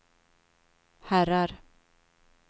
herrar